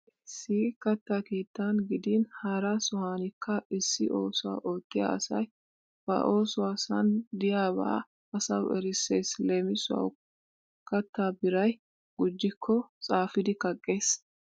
Issi issi katta keettan gidin hara sohaanikka issi oosuwa oottiya asay ba oosuwasan diyaaba asawu erissees. Leemisuwawu kattaa biray gujjikko xaafidi kaqqees.